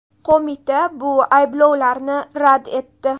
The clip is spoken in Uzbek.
Qo‘mita bu ayblovlarni rad etdi.